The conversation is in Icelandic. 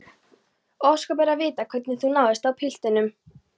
Ósköp er að vita hvernig þú níðist á piltinum.